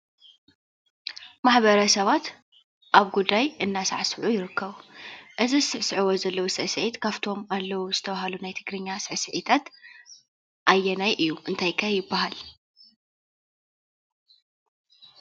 ማሕበረሰባት ኣብ ጉዳይ እንዳሳዕስዑ ይርከቡ ።እዚ ዝስዕስዕዎ ዘለዉ ስዕሲዒት ካፍቶም ኣለው ዝተባሃሉ ናይ ትግርኛ ስዕሲዒታት ኣየናይ እዩ? እንታይ ከ ይበሃል?